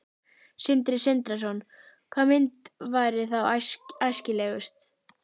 Sindri Sindrason: Hvaða mynt væri þá æskilegust?